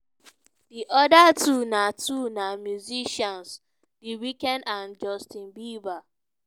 di oda two na two na musicians the weeknd and justin bieber.